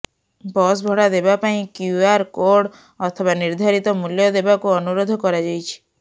bus ଭଡା ଦେବା ପାଇଁ କ୍ୟୁଆର୍ କୋଡ୍ ଅଥବା ନିର୍ଦ୍ଧାରିତ ମୂଲ୍ୟ ଦେବାକୁ ଅନୁରୋଧ କରାଯାଇଛି